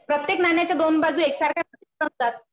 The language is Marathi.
प्रत्येक नाण्याच्या दोन बाजू एकसारख्या नसतात